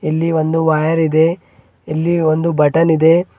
ಇಲ್ಲಿ ಒಂದು ವಯರ್ ಇದೆ ಇಲ್ಲಿ ಒಂದು ಬಟನ್ ಇದೆ.